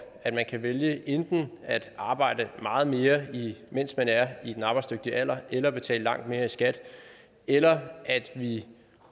at man kan vælge enten at arbejde meget mere mens man er i den arbejdsdygtige alder eller at betale langt mere i skat eller at vi